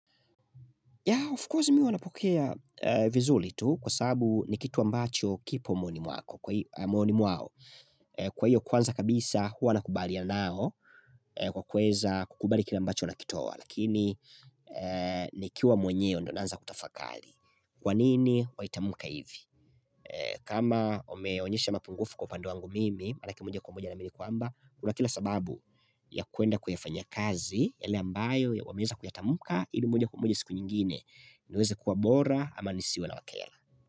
Of course mimi hua napokea vizuri tu kwasababu ni kitu ambacho kipo moyoni mwako. Kwa hio kwanza kabisa hua nakubaliana nao kwa kuweza kukubali kile ambacho nakitoa lakini nikiwa mwenyewe ndio naanza kutafakari. Kwa nini waitamka hivi? Kama umeonyesha mapungufu kwa upande wangu mimi Manake moja kwa moja naamini kwamba Kuna kila sababu ya kwenda kuifanya kazi ile ambayo wameeza kuyatamka ili moja kwa moja siku nyingine niweze kuwa bora ama nisiwe nawakera.